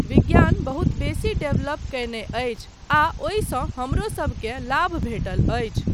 विज्ञान बहुत बेसी डेवलप कयने अछि आ ओहिसँ हमरोसबकेँ लाभ भेटल अछि।